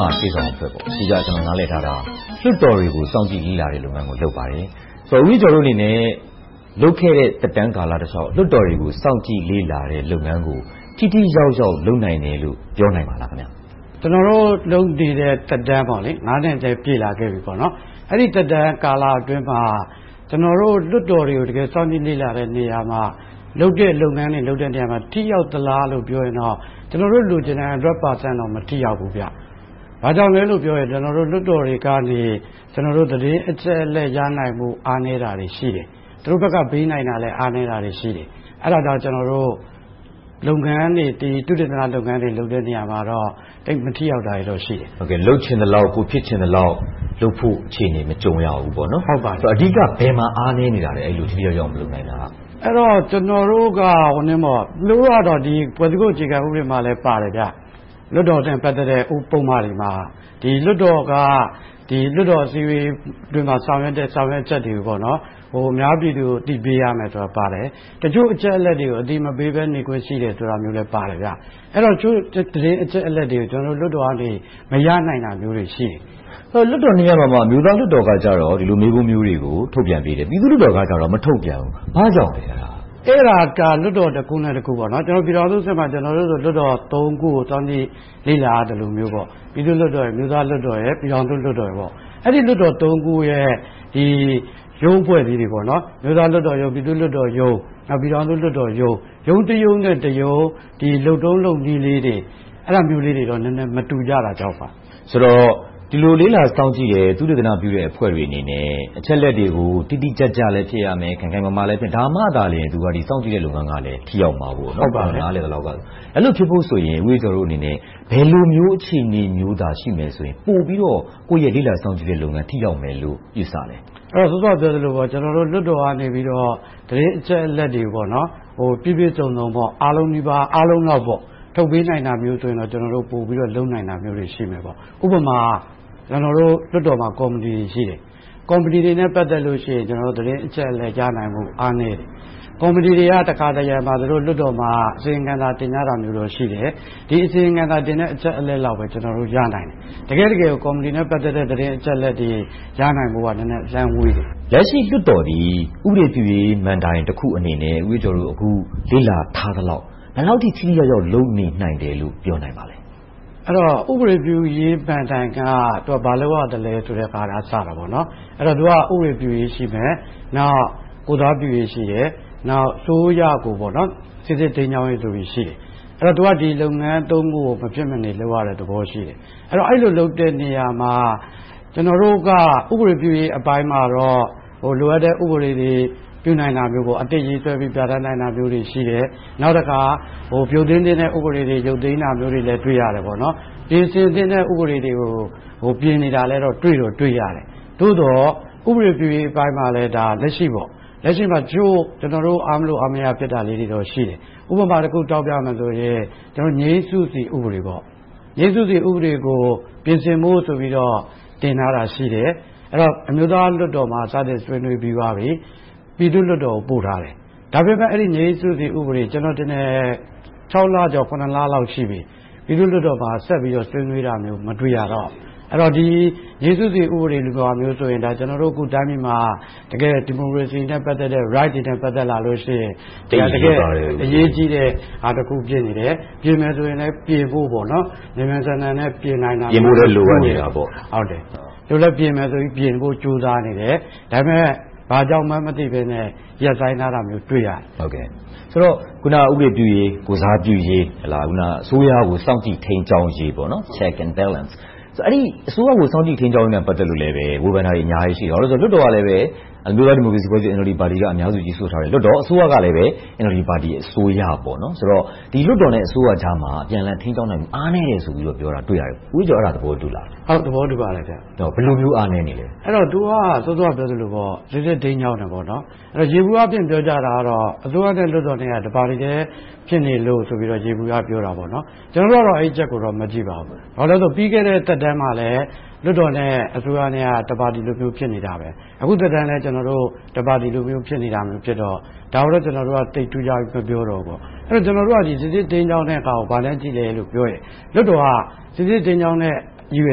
မာရှေ့ဆောင်အဖွဲ့ကို ကျနော် အဓိကနားလည်ထားတာက လွှတ်တော်တွေကို စောင့်ကြည့်လေ့လာတဲ့လုပ်ငန်းကို လုပ်ပါတယ်။ ဦးအေးကျော်တို့အနေနဲ့ လုပ်ခဲ့တဲ့ သက်တမ်းကာလတလျှောက် လွှတ်တော်တွေကို စောင့်ကြည့်လေ့လာတဲ့လုပ်ငန်းကို ထိထိရောက်ရောက် လုပ်နိုင်တယ်လို့ ပြောနိုင်ပါသလား။ ကျနော်တို့ လုပ်နေတဲ့သက်တမ်းက နှစ်လည်း ပြည့်လာခဲ့ပါပြီ။ အဲဒီသက်တမ်းကာလအတွင်းမှာ ကျနော်တို့ လွှတ်တော်တွေကို တကယ်စောင့်ကြည့်လေ့လာတဲ့နေရာမှာ၊ လုပ်တဲ့လုပ်ငန်းတွေ လုပ်တဲ့နေရာမှာ ထိရောက်သလားလို့ ပြောရင်တော့ ကျနော်တို့လိုချင်တဲ့ 100% တော့ မထိရောက်သေးဘူး။ ဘာကြောင့်လဲလို့ပြောရင် ကျနော်တို့ လွှတ်တော်တွေကနေ သတင်းအချက်အလက် ရနိုင်ဖို့ အားနည်းတာတွေ ရှိတယ်။ သူတို့ဘက်က ပေးနိုင်တာလည်း အားနည်းတာလည်းရှိတယ်။ အဲဒါကြောင့် ကျနော်တို့ လုပ်ငန်းတွေ၊ သုတေသနလုပ်ငန်းတွေ လုပ်တဲ့နေရာတွေမှာတော့ သိပ်မထိရောက်တာတွေ ရှိတယ်။ လုပ်ချင်သလောက်၊ ကိုယ်ဖြစ်ချင်သလောက် လုပ်ဖို့အခြေအနေ မကြုံရဘူးပေါ့။ အဓိက ဘယ်မှာအားနည်းနေတာလဲ။ ထိထိရောက်ရောက် မလုပ်နိုင်တာက။ ကျနော်တို့က ကနဦးက ဖွဲ့စည်းပုံအခြေခံဥပဒေမှာလည်းပါတယ်။ လွှတ်တော်နဲ့ ပတ်သက်တဲ့ ဥပဒေတွေမှာ ဒီလွှတ်တော်က လွှတ်တော်အစည်းအဝေးအတွင်းမှာ ဆောင်ရွက်တဲ့ ဆောင်ရွက်ချက်တွေကို အများပြည်သူကို အသိပေးရမယ်ဆိုတာပါတယ်။ တချို့အချက်အလက်တွေကို အသိမပေးဘဲနဲ့…. လည်းပါတယ်။ အဲဒီတော့ တချို့အချက်အလက်တွေကို ကျနော်တို့လွှတ်တော်က မရနိုင်တာမျိုးတွေရှိတယ်။ လွှတ်တော်နှစ်ရပ်မှာ အမျိုးသားလွှတ်တော်က ဒီလိုမျိုး မေးခွန်းမျိုးတွေကို ထုတ်ပြန်ပေးတယ်။ ပြည်သူ့လွှတ်တော်ကြတော့ မထုတ်ပြန်ဘူး။ ဘာကြောင့်လဲ။ အဲဒါက လွှတ်တော်တခုနဲ့တခု - ပြည်ထောင်စုအဆင့်မှာ လွှတ်တော်သုံးခုကို သွားလေ့လာရသလိုမျိုး - ပြည်သူ့လွှတ်တော်၊ အမျိုးသားလွှတ်တော်၊ ပြည်ထောင်စုလွှတ်တော် - အဲဒီလွှတ်တော် ခုရဲ့ ရုံးအဖွဲ့လေးတွေ - အမျိုးသားလွှတ်တော်ရုံး၊ ပြည်သူ့လွှတ်တော်ရုံး၊ ပြည်ထောင်စုလွှတ်တော်ရုံး - ရုံးတရုံးနဲ့တရုံး လုပ်ထုံးလုပ်နည်းလေးတွေ အဲဒါမျိုးလေးတွေတော့ မတူကြတာကြောင့်ပါ။ အဲဒီတော့ ဒီလိုလေ့လာစောင့်ကြည့်တယ်၊ သုတေသနပြုတဲ့ အဖွဲ့တွေအနေနဲ့ အချက်အလက်တွေကို တိတိကျကျပဲ ဖြစ်ရမယ်။ ခိုင်ခိုင်မာမာပဲ ဖြစ်ရမယ်။ ဒါမှသာလျှင် စောင့်ကြည့်တဲ့လုပ်ငန်းက ထိရောက်မှာပေ့ါ။ အဲဒီလို ဖြစ်ဖို့ဆိုရင် ဦးအေးကျော်တို့အနေနဲ့ ဘယ်လိုမျိုး အခြေအနေမျိုးသာ ရှိမယ်ဆိုရင် ပိုပြီးတော့ ကိုယ့်ရဲ့ လေ့လာစောင့်ကြည့်ရေးလုပ်ငန်း ထိရောက်မယ်လို့ ယူဆသလဲ။ စောစောက ပြောခဲ့သလို လွှတ်တော်ကနေပြီးတော့ သတင်းအချက်အလက်တွေကို ပြည့်ပြည့်စုံစုံ အားလုံးနီးပါး၊ အားလုံးလောက် ထုတ်ပေးနိုင်တာမျိုးဆိုရင်တော့ ပိုပြီးတော့ လုပ်နိုင်တာမျိုးတွေ ရှိပါတယ်။ ဥပမာ ကျနော်တို့လွှတ်တောမှာ ကော်မတီတွေ ရှိတယ်။ ကော်မတီတွေနဲ့ ပတ်သက်လို့ရှိရင် သတင်းအချက်အလက်တွေ ကြားနိုင်ဖို့ အားနည်းတယ်။ ကော်မတီတွေက တခါတရံမှာ သူတို့လွှတ်တော်မှာ အစီရင်ခံစာတင်ပြတာမျိုးရှိတယ်။ ဒီအစီရင်ခံစာ တင်ပြတဲ့အချက်အလက်လောက်ပဲ ကျနော်တို့ ရနိုင်တယ်။ တကယ့်တကယ်ကို ကော်မတီနဲ့ ပတ်သက်တဲ့ အချက်အလက်တွေ ရနိုင်ဖို့က နည်းနည်းအလှမ်းဝေးတယ်။ လက်ရှိလွှတ်တော်သည် ဥပဒေပြုရေးမဏ္ဍိုင်တခုအနေနဲ့ ဦးအေးကျော်တို့ အခုလေ့လာထားသလောက် ဘယ်လောက်ထိ ထိထိရောက်ရောက် လုပ်နိုင်တယ်လို့ ပြောနိုင်သလဲ။ ဥပဒေပြုရေးမဏ္ဍိုင်က ဘာလုပ်ရသလဲဆိုတာကစတယ်။ သူက ဥပဒေပြုရေးရှိတယ်။ ကိုယ်စားပြုရေးရှိတယ်။ နောက် အစိုးရကို စီစစ်ထိန်းကျောင်းရေးဆိုပြီ ရှိတယ်။ သူက ဒီလုပ်ငန်း ခုကို မဖြစ်မနေလုပ်ရတဲ့သဘော ရှိတယ်။ အဲဒီလိုလုပ်တဲ့နေရာမှာ ကျနော်တို့က ဥပဒေပြုရေးအပိုင်းမှာတော့ လိုအပ်တဲ့ဥပဒေတွေ ပြုနိုင်တာမျိုး၊ အသစ်ရေးဆွဲပြီး ပြဌာန်းတာမျိုးတွေ ရှိတယ်။ နောက်တခါ ရုတ်သိမ်းသင့်တဲ့ ဥပဒေတွေ ရုတ်သိမ်းတာမျိုးလည်း တွေ့ရတယ်။ ပြင်ဆင်သင့်တဲ့ ဥပဒေတွေကို ပြင်ဆင်တာတွေလည်း တွေ့ရတယ်။ သို့သော် ဥပဒေပြုရေးပိုင်းမှာလည်း လက်ရှိ ကျနော်တို့ တချို့အားမလိုအားမရ ဖြစ်တာလေးတွေတော့ ရှိတယ်။ ဥပမာတခု ပြောရမယ်ဆိုရင် ငြိမ်စုစည်း ဥပဒေ။ ဒီဥပဒေကို ပြင်ဆင်ဖို့ဆိုပြီး တင်ထားတာ ရှိတယ်။ အမျိုးသားလွှတ်တော်မှာ စတင်ဆွေးနွေးပြီးသွားပြီ၊ ပြည်သူ့လွှတ်တော်ကို ပို့ထားတယ်။ ဒါပေမဲ့ ငြိမ်စုစည်း ဥပဒေက ကျနော်ထင်တယ် ခြောက်လကျော်၊ ခုနှစ်လလောက် ရှိပြီ။ ပြည်သူ့လွှတ်တော်မှာဆက်ပြီးတော့ ဆွေးနွေးတာမျိုး မတွေ့ရဘူး။ ဒီ ငြိမ်စုစည်း ဥပဒေမျိုးဆိုရင် ကျနော်တို့တိုင်းပြည်မှာ တကယ့်ဒီမိုကရေစီနဲ့ ပတ်သက်တဲ့ Rights တွေနဲ့ ပတ်သက်လာလို့ရှိရင် တကယ့်အရေးကြီးတဲ့အရာ ဖြစ်နေတယ်။ ပြင်မယ်ဆိုရင်ပြင်ဖို့ မြန်မြန်ဆန်ဆန်လည်း ပြင်ဖို့လည်းလိုအပ်နေတယ်။ ပြင်မယ်ဆိုပြီးတော့ ကြိုးစားနေတယ်။ ဒါပေမဲ့ ဘာကြောင့်မှန်းမသိဘဲနဲ့ ရပ်ဆိုင်းထားတာ တွေ့ရတယ်။ ဆိုတော့ အခုန ဥပဒေပြုရေး၊ ကိုယ်စားပြုရေး၊ အစိုးရကိုစောင့်ကြည့်ရေး ထိန်းကျောင်းရေး Check and Balance အစိုးရကို စောင့်ကြည်ထိန်းကျောင်းရေးနဲ့ ပတ်သက်လို့လည်း ဝေဖန်တာတွေ အများကြီးရှိတယ်။ လွှတ်တော်ကလည်း အမျိုးသားဒီမိုကရေစီအဖွဲ့ချုပ် ပါတီက အများစုရယူထားတယ်။ လွှတ်တော်၊ အစိုးရကလည်း NLD အစိုးရပေါ့။ ဆိုတော့ အစိုးရနဲ့ လွှတ်တော်ကြားမှာ အပြန်အလှန်ထိန်းကျောင်းနိုင်ဖို့ အားနည်းတယ်ဆိုပြီးတော့ တွေ့ရတယ်။ ဦးအေးကျော် အဲဒါကို သဘောတူပါလား။ ဘယ်လိုမျိုး အားနည်းနေသလဲ။ သူက စောစောကပြောသလိုပေါ့ ထိန်းကျောင်းတယ် - ယေဘုယျအားဖြင့် ပြောကြတာကတော့ အစိုးရနဲ့ လွှတ်တော်တို့က တပါတီထဲဖြစ်နေလို့ဆိုပြီးတော့ ယေဘုယျ ပြောတယ်။ အဲဒီအချက်ကို မကြည့်ပါဘူး။ ပြီးခဲ့တဲ့သက်တမ်း လွှတ်တော်မှာလည်း လွှတ်တော်နဲ့ အစိုးရက တပါတီတည်း ဖြစ်နေတယ်။ အခုသက်တမ်းမှာလည်း တပါတီလိုမျိုး ဖြစ်နေတာမျိုးဖြစ်တော့ - ဒါကိုတော့ ကျနော်တို့က သိပ်ထူးခြားပြီး မပြောတော့ဘူး။ ကျနော်တို့က စီစစ်ထိန်းကျောင်းတဲ့ဟာကို ဘာနဲ့ကြည့်သလဲလို့ပြောရင် လွှတ်တော်က စီစစ်ထိန်းကျောင်းတဲ့ ရည်ရွ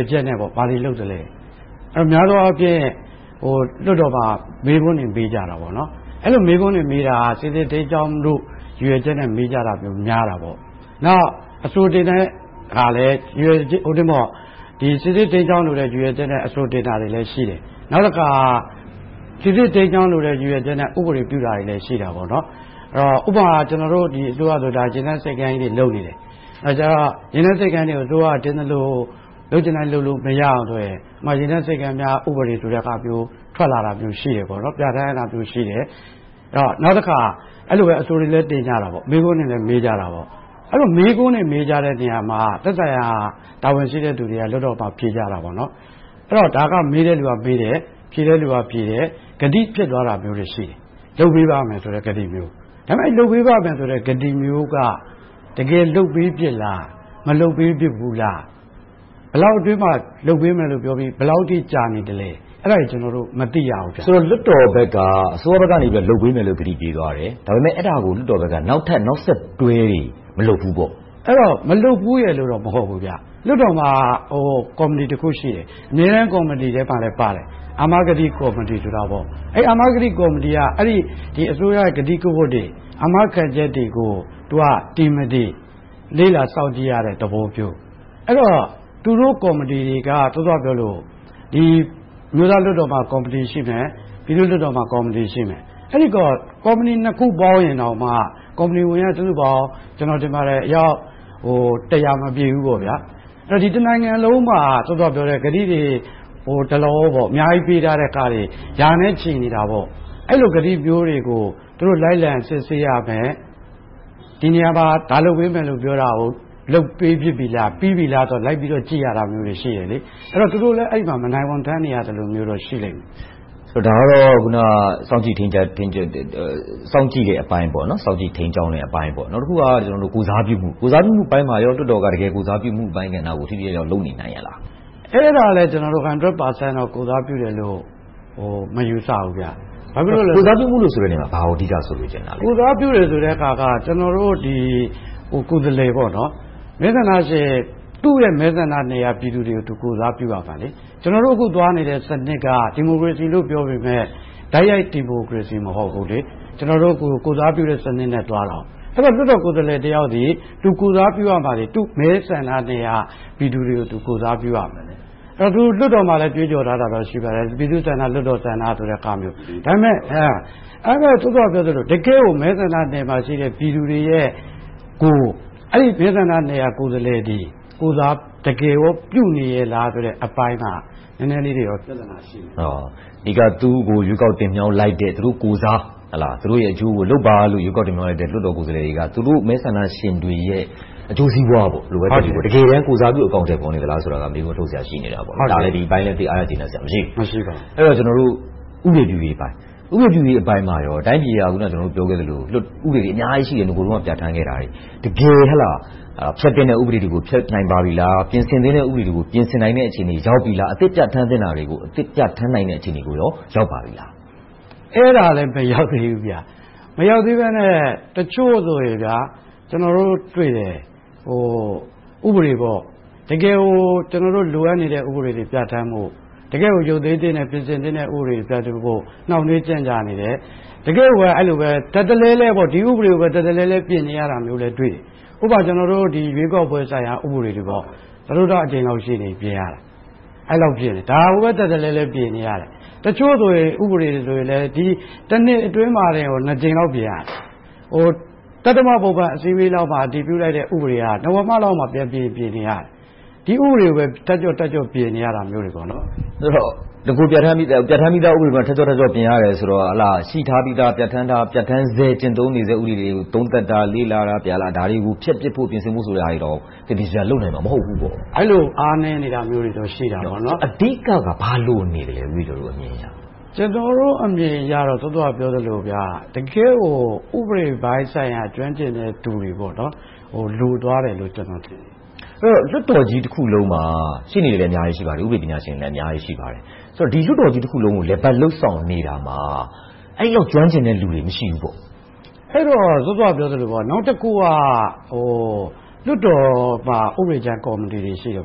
ယ်ချက်နဲ့ ဘာတွေလုပ်သလဲ။ များသောအားဖြင့် လွှတ်တော်မှာ မေးခွန်းတွေမေးကြတယ်ပေါ့။ အဲဒီလို မေးခွန်းတွေ မေးတာက စီစစ်ထိန်းကျောင်းဖို့ ရည်ရွယ်ချက်နဲ့ မေးကြတာမျိုးများပါတယ်။ နောက် အဆိုတင်သွင်းတာကလဲ စီစစ်ထိန်းကျောင်းလိုတဲ့ ရည်ရွယ်ချက်နဲ့ အဆိုတင်သွင်းတာတွေလည်း ရှိတယ်။ နောက်တခါ စီစစ်ထိန်းကျောင်းလိုတဲ့ ရည်ရွယ်ချက်နဲ့ ဥပဒေတွေလည်း ရှိတယ်။ ဥပမာ ကျနော်တို့ အစိုးရဆိုရင် ရေနက်ဆိပ်ကမ်းကြီးတွေ လုပ်နေကြတယ်။ အဲဒီမှာ ရေနက်ဆိပ်ကမ်းကြီးတွေကို အစိုးရက လုပ်ချင်တိုင်း လုပ်လို့မရအောင်အတွက် ရေနက်ဆိပ်ကမ်းများ ဥပဒေ ထွက်လာတာမျိုးရှိတယ်။ နောက်တခါ အဲဒီလိုပဲ အဆိုတွေလည်း တင်ကြတယ်။ မေးခွန်းတွေလည်း မေးကြတယ်။ အဲဒီလို မေးခွန်းတွေ မေးကြတဲ့နေရာမှာ သက်ဆိုင်ရာ တာဝန်ရှိတဲ့လူတွေက လွှတ်တော်မှာ ဖြေကြတယ်။ အဲဒီတော့ ဒါကို မေးကြတဲ့လူတွေက မေးတယ်။ ဖြေတဲ့လူက ဖြေကြတယ်။ ကတိဖျက်သွားတာတွေ ရှိတယ်။ လုပ်ပေးပါမယ်ဆိုတဲ့ ကတိမျိုး။ ဒါပေမဲ့ လုပ်ပေးပါမယ်ဆိုတဲ့ ကတိမျိုးက တကယ်လုပ်ပေးဖြစ်သလား။ မလုပ်ပေးဖြစ်ဘူးလား။ ဘယ်လောက်အတွင်းမှာ လုပ်ပေးမယ်လို့ ပြောပြီး၊ ဘယ်လောက်အထိ ကြာနေသလဲ။ အဲဒါတွေ ကျနော်တို့ မသိရဘူး။ ဆိုတော့ လွှတ်တော်ဘက်က အစိုးရဘက်က လုပ်ပေးမယ်လို့ ကတိပေးသွားတယ်။ အဲဒါကို လွှတ်တော်ဘက်က နောက်ထပ်နောက်ဆက်တွဲတွေ မလုပ်ဘူးပေါ့။ မလုပ်ဘူးရယ်လို့တော့ မဟုတ်ဘူး။ လွှတ်တော်မှာ ကော်မတီမှာတခု ရှိတယ်။ အမြဲတမ်းကော်မတီထဲမှာလည်း ပါတယ်။ အာမကတိကော်မတီ ဖြစ်တယ်။ အဲဒီကော်မတီက အစိုးရရဲ့ ကတိကဝတ်တွေ အာမခံချက်တွေကို တင်မတင် လေ့လာစောင့်ကြည့်ရတဲ့သဘောမျိုး။ အဲဒီတော့ သူတို့ကော်မတီတွေက စောစောကပြောသလို အမျိုးသားလွှတ်တော်မှာ ကော်မတီရှိမယ်။ ပြည်သူ့လွှတ်တော်မှာ ကော်မတီ ရှိတယ်။ အဲဒီကော်မတီနှစ်ခုပေါင်းရင်တောင်မှ ကော်မတီဝင်က စုစုပေါင်းအယောက် မပြည့်ဘူး။ တနိုင်ငံလုံးမှာ စောစောက ကတိတွေ ဒလဟော အများကြီးပေးထားတာတွေအရာတွေ ရာနဲ့ချီပါလာတယ်။ အဲဒီကတိမျိုးတွေကို သူတို့လိုက်လံစစ်ဆေးရမယ်။ ဒီနေရာမှာ ဒါလုပ်ပေးမယ်လို့ ပြောတာကို လုပ်ပေးဖြစ်ပြီလား။ ပြီးပြီလား။ လိုက်ပြီးတော့ ကြည့်ရတာတွေ ရှိတယ်။ သူတို့လည်း အဲဒီမှာ မနိုင်ဝန်ထမ်းနေရသလိုမျိုးတော့ ရှိလိမ့်မယ်။ ဒါကတော့ စောင့်ကြပ်ထိန်းကြည့် စောင့်ကြည့်တဲ့သဘောပေါ့။ နောက်တခုက ကိုယ်စားပြုမှုအပိုင်းမှာ လွှတ်တော်က တကယ်ကိုယ်စားပြုမှုအပိုင်းကို ထိထိရောက်ရောက် လုပ်နေနိုင်ရဲ့လား။ အဲဒါလဲ 100% ကိုယ်စားပြုတယ်လို့ မယူဆဘူး။ ဘာဖြစ်လို့လဲဆိုတော့ ကိုယ်စားပြုမှုဆိုတဲ့နေရာမှာ ဘာကို အဓိက ဆိုလိုချင်တာလဲ။ ကိုယ်စားပြုတယ်ဆိုတဲ့ဟာက ကျနော်တို့ ကိုယ်စားလှယ်က သူ့ရဲ့မဲဆန္ဒနယ်မြေက ပြည်သူတွေကို ကိုယ်စားပြုရမယ်။ ကျနော်တို့ အခုသွားနေတဲ့ စနစ်က ဒီမိုကရေစီလို့ ပြောပေမယ့် တိုက်ရိုက်ဒီမိုကရေစီ မဟုတ်ဘူး။ ကျနော်တို့ ကိုယ်စားပြုတဲ့စနစ်နဲ့ သွားတာ။ အဲဒီတော့ လွှတ်တော်ကိုယ်စားလှယ်တယောက်သည် သူကိုယ်စားပြုရမှာတွေ၊ သူ့မဲဆန္ဒနယ်မြေက ပြည်သူတွေကို ကိုယ်စားပြုရမယ်။ သူတို့ လွှတ်တော်မှာလည်း ကြွေးကြော်ထားတာလည်း ရှိပါတယ်။ ပြည်သူ့ဆန္ဒ၊ လွှတ်တော်ဆန္ဒ။ ဒါပေမဲ့ မဲဆန္ဒနယ်မြေမှာရှိတဲ့ ပြည်သူတွေကို ကိုယ်စားလှယ်က တကယ်ကော ကိုယ်စားပြုနေရဲ့လားဆိုတဲ့ အပိုင်းက နည်းနည်းလေးတော့ ပြဿနာ ရှိတယ်။ အဓိက သူကို ရွေးကောက်တင်မြှောက်လိုက်တဲ့ သူတို့ကိုယ်စား၊ သူတို့ရဲ့အကျိုးကို လုပ်ပါလို့ တင်မြှောက်လိုက်တဲ့ လွှတ်တော်ကိုယ်စားလှယ်တွေက သူတို့မဲဆန္ဒရှင်တွေရဲ့ အကျိုးစီးပွားကို တကယ်တမ်း ကိုယ်စားပြု အကောင်အထည်ဖော်နေသလားဆိုတာကို မေးခွန်းထုတ်စရာ ရှိနေတာပေါ့။ ဒီအပိုင်းလည်း သိပ်ကျေနပ်အားရစရာ မရှိဘူး။ အဲဒီတော့ ဥပဒေပြုရေးအပိုင်း။ ဥပဒေပြုရေးအပိုင်းမှာရော တိုင်းပြည်က အခုနပြောခဲ့သလို ဥပဒေတွေအများကြီး ရှိတယ်။ နဂိုတုန်းက ပြဌာန်းခဲ့တာတွေ။ တကယ်ဖျက်သင့်တဲ့ ဥပဒေတွေကို ဖျက်နိုင်ခဲ့ပြီလား။ ပြင်ဆင်သင့်တဲ့ ဥပဒေတွေကို ပြင်ဆင်သင့်တဲ့ အခြေအနေ ရောက်ပြီလား။ အသစ်ပြဌာန်းသင့်တာတွေကို အသစ်ပြဌာန်းနိုင်တဲ့ အခြေအနေကို ရောက်ပါပြီလား။ အဲဒါလဲ မရောက်သေးဘူး။ မရောက်သေးဘဲနဲ့ တချို့တွေဆိုရင် ကျနော်တို့တွေ့တဲ့ ဥပဒေ - တကယ်ကို ကျနော်တို့ လိုအပ်နေတဲ့ ဥပဒေတွေ ပြဌာန်းဖို့။ တကယ့်ကို ရုတ်သိမ်းသင့်တဲ့၊ ပြင်ဆင်သင့်တဲ့ ဥပဒေတွေ ပြင်ဆင်ဖို့ နှောင့်နှေးကြန့်ကြာနေတယ်။ ထပ်တလဲလဲ ဒီဥပဒေကိုပဲ ပြင်ဆင်နေရတာတွေလည်း တွေ့တယ်။ ဥပမာ ရွေးကောက်ပွဲဆိုင်ရာ ဥပဒေတွေ - စတုတ္ထအကြိမ်လောက် ရှိနေပြီ ပြင်ရတာ။ ဒါကိုပဲ ထပ်တလဲလဲ ပြင်နေတယ်။ တချို့ဥပဒေတွေဆိုရင်လဲ နှစ်အတွင်းမှာတင် နှစ်ကြိမ်လောက် ပြင်ရတယ်။ သတ္တမပုံမှန်အစည်းအဝေးမှာ အတည်ပြုလိုက်တဲ့ ဥပဒေက နဝမလောက်မှာ ပြင်ချင်ပြင်နေရတယ်။ ဒီဥပဒေကိုပဲ ထပ်ကြော့ထပ်ကြော့ ပြင်နေရတယ်။ ဆိုတော့ နဂိုပြဌာန်းပြီသား ဥပဒေကိုပဲ ထပ်ကြော့ထပ်ကြော့ ပြင်နေရတယ်ဆိုတော့ ရှိထားပြီသား ပြဌာန်းထား၊ ပြဌာန်းဆဲ၊ ကျင့်သုံးနေဆဲ ဥပဒေတွေကို သုံးသပ်တာ၊ လေ့လာတာ၊ ဒါတွေကို ဖျက်ပစ်ဖို့ ဆိုတာတွေ သေသေချာချာ လုပ်နိုင်မှာ မဟုတ်ဘူးပေါ့။ အဲဒီလို အားနည်းနေတာတွေတော့ ရှိတယ်။ အဓိက ဘာလိုနေလဲ။ ဦးအေးကျော်တို့ အမြင်အရ။ ကျနော်တို့ အမြင်ကတော့ စောစောကပြောသလို တကယ့်ကို ဥပဒေပိုင်းဆိုင်ရာ ကျွမ်းကျင်တဲ့သူတွေ လိုသွားတယ်လို့ ထင်တယ်။ အဲဒီတော့ လွှတ်တော်ကြီးတခုလုံးမှာ ရှေ့နေတွေလည်း အများကြီး ရှိပါတယ်။ ဥပဒေပညာရှင်တွေလည်း အများကြီး ရှိပါတယ်။ ဒီလွှတ်တော်ကြီးတခုလုံးကို လည်ပတ်လုပ်ဆောင်နေရာမှာ အဲဒီလောက် ကျွမ်းကျင်တဲ့လူတွေ မရှိဘူးပေါ့။ စောစောကပြောသလို နောက်တခုက လွှတ်တော်မှာ ဥပဒေကြမ်းကော်မတီတွေ ရှိတယ်။ အ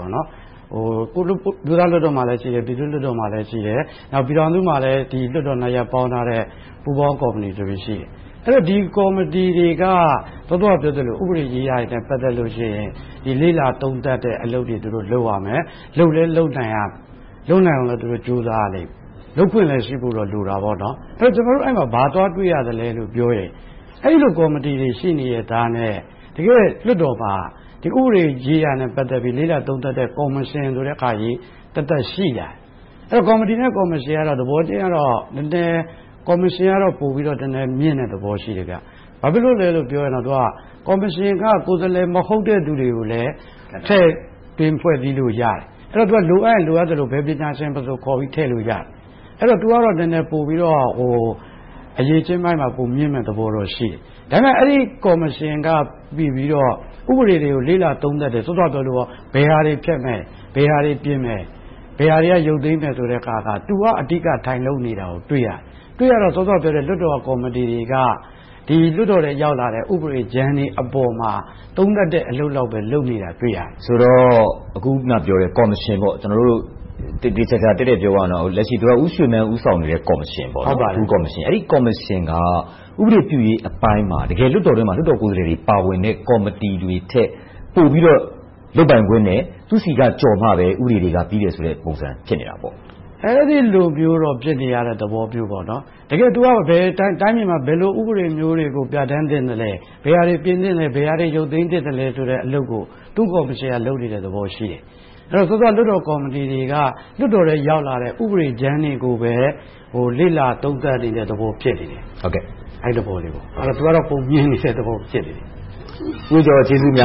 မျိုးသားလွှတ်တော်မှာလည်း ရှိတယ်။ ပြည်သူ့လွှတ်တော်မှာလည်း ရှိတယ်။ နောက် ပြည်ထောင်စုမှာလည်း လွှတ်တော်နှစ်ရပ်ပေါင်းထားတဲ့ ပူးပေါင်းကော်မတီဆိုပြီ ရှိတယ်။ ဒီကော်မတီတွေက စောစောကပြောသလို ဥပဒေရေးရာနဲ့ ပတ်သက်လို့ရှိရင် လေ့လာသုံးသပ်တဲ့ အလုပ်တွေကို လုပ်ရမယ်။ လုပ်လည်းလုပ်နိုင်အောင် သူတို့ကြိုးစားရမယ်။ လုပ်ခွင့်လည်းရှိဖို့တော့ လိုတာပေါ့။ ကျနော်တို့ အဲဒီမှာ ဘာသွားတွေ့ရလဲဆိုတော့ အဲဒီကော်မတီတွေ ရှိနေရဲ့သားနဲ့ တကယ့်လွှတ်တော်မှာ ဒီဥပဒေရေးရာနဲ့ ပတ်သက်ပြီး လေ့လာသုံးသပ်တဲ့ ကော်မရှင်ဆိုတဲ့ဟာကြီး သက်သက်ရှိနေပြန်တယ်။ ကော်မတီနဲ့ ကော်မရှင်ကတော့ သဘောထားချင်းတော့ ကော်မရှင်ကတော့ နည်းနည်းမြင့်တဲ့သဘော ရှိတယ်။ ဘာဖြစ်လို့လဲလို့ပြောရင် သူက ကော်မရှင်က ကိုယ်စားလှယ် မဟုတ်တဲ့လူတွေကို ထည့်သွင်းဖွဲ့စည်းလို့ရတယ်။ အဲဒီတော့ သူက လိုအပ်ရင်လိုအပ်သလို ဘယ်ပညာရှင်မဆိုခေါ်ပြီး ထည့်လို့ရတယ်။ သူကတော့ နည်းနည်းပိုပြီးတော့ အရည်အချင်းပိုင်းမှာ ပိုပြီးတော့မြင့်မယ့်သဘောတော့ ရှိတယ်။ ဒါပေမဲ့ အဲဒီကော်မရှင်က ဥပဒေတွေကို လေ့လာသုံးသပ်တယ်။ စောစောကပြောသလို ဘယ်ဟာတွေ ဖျက်မယ်။ ဘယ်ဟာတွေ ပြင်မယ်။ ဘယ်ဟာတွေက ရုတ်သိမ်းမယ်ဆိုတဲ့ဟာကို သူက အဓိကထိုင်လုပ်နေတာကို တွေ့ရတယ်။ တွေ့ရတော့ စောစောကပြောတဲ့ လွှတ်တော်ကိုယ်စားလှယ်တွေက လွှတ်တော်ထဲရောက်လာတဲ့ ဥပဒေကြမ်းတွေအပေါ် သုံးသပ်တဲ့အလုပ်လောက်ပဲ လုပ်နေတာကို တွေ့ရတယ်။ ဆိုတော့ အခုနပြောတဲ့ ကော်မရှင်က သေေသေချာချာ တည့်တည့်ပြောရရင် လက်ရှိ သူရဦးရွှေမန်း ဦးဆောင်နေတဲ့ ကော်မရှင် - အဲဒီကော်မရှင်က ဥပဒေပြုရေးအပိုင်းမှာ တကယ်လွှတ်တော်ထဲမှာ လွှတ်တော်ကိုယ်စားလှယ်တွေ ပါဝင်တဲ့ ကော်မတီထက် ပိုပြီတော့ လုပ်ပိုင်ခွင့်နဲ့ သူဆီက ကျော်မှပဲ ဥပဒေတွေက ပြီးတယ်ဆိုတဲ့ပုံစံ ဖြစ်နေတာပေါ့။ အဲဒီလိုမျိုးတော့ ဖြစ်နေရတဲ့သဘောပေါ့။ သူက တိုင်းပြည်မှာ ဘယ်လိုဥပဒေမျိုးတွေကို ပြဌာန်းသင့်သလဲ။ ဘယ်ဟာတွေကို ပြင်သင့်သလဲ။ ဘယ်ဟာတွေကို ရုတ်သိမ်းသင့်သလဲ အလုပ်ကို သူ့ကော်မရှင်က လုပ်နေတဲ့သဘောရှိတယ်။ စောစောက လွှတ်တော်ကော်မတီတွေက လွှတ်တော်ထဲရောက်လာတဲ့ ဥပဒေမူကြမ်းတွေကိုပဲ လေ့လာသုံးသပ်နေတဲ့သဘော ဖြစ်နေတယ်။ အဲဒီသဘောလေးပေါ့။ သူကတော့ ပိုမြင့်နေတဲ့သဘော ဖြစ်နေတယ်။ ကျေးဇူးအမျာ